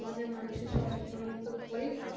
সমাজের মানুষের সচেতন এর তো ওপরেই সব,